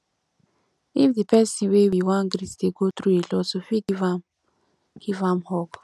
if di person wey we wan greet dey go through alot we fit give am give am hug